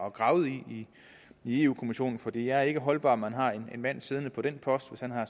at grave i i europa kommissionen for det er ikke holdbart at man har en mand siddende på den post hvis han har